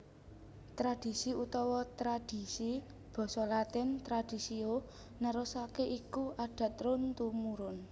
Tradhisi utawa tradisi basa Latin traditio nerusaké iku adat run tumurun